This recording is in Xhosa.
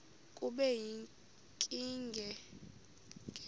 kube yinkinge ke